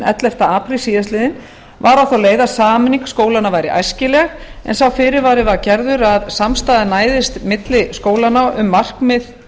ellefta apríl síðastliðinn var á þá leið að sameining skólanna væri æskileg en sá fyrirvari var gerður að samstaða næðist milli skólanna um markmið